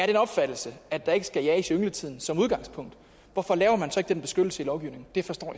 den opfattelse at der ikke skal jages i yngletiden som udgangspunkt hvorfor laver man så ikke den beskyttelse i lovgivningen det forstår